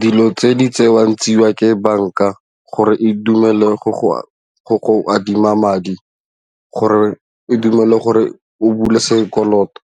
Dilo tse di tsewang tseiwa ke banka gore e dumelele go go adima madi gore e dumele gore o bule sekoloto